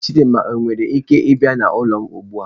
Chidinma owere ike bia n'ulo m ugbua?